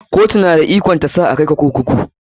Kotu na da ikon sa a kai ka kurkuku.